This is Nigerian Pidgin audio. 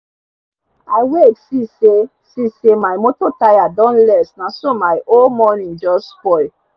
i wake see say see say my moto tire don less naso my whole morning jus spoil